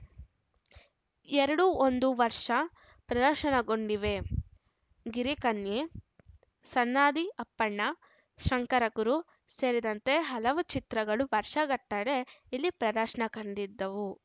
ಎರಡೂ ಒಂದು ವರ್ಷ ಪ್ರದರ್ಶನಗೊಂಡಿವೆ ಗಿರಿಕನ್ಯೆ ಸನಾದಿ ಅಪ್ಪಣ್ಣ ಶಂಕರಗುರು ಸೇರಿದಂತೆ ಹಲವು ಚಿತ್ರಗಳು ವರ್ಷಗಟ್ಟಲೇ ಇಲ್ಲಿ ಪ್ರದರ್ಶನ ಕಂಡಿದ್ದವು